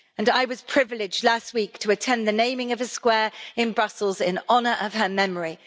I was privileged last week to attend the naming of a square in Brussels in honour of her memory.